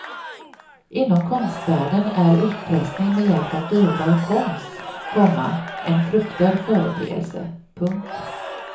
Inom konstvärlden är utpressning med hjälp av dyrbar konst, komma en fruktad företeelse. punkt